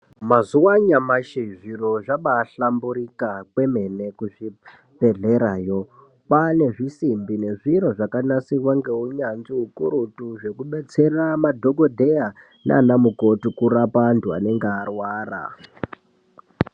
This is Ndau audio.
Mazuwa anyamashi zviro zvabaahlamburika kwemene kuzvibhedhlerayo. Kwaane zvisimbi nezviro zvakanasirwa ngeunyanzvi ukurutu , zvekubetsera madhokodheya, naanamukoti kurapa antu anenga arwara.